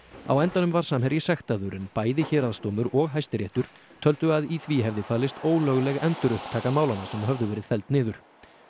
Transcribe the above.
á endanum var Samherji sektaður en bæði héraðsdómur og Hæstiréttur töldu að í því hefði falist ólögleg endurupptaka málanna sem höfðu verið felld niður